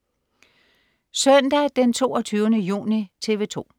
Søndag den 22. juni - TV 2: